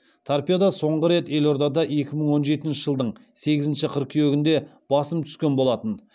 торпедо соңғы рет елордада екі мың он жетінші жылдың сегізінші қыркүйегінде басым түскен болатын